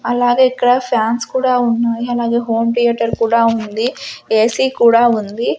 అలాగే ఇక్కడ ఫ్యాన్స్ కూడా ఉన్నాయి అలాగే హోమ్ థియేటర్ కూడా ఉంది ఏ_సీ కూడా ఉంది.